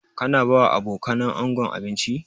Ka na ba wa abokanan ango abinci?